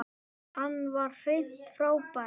Hann var hreint frábær.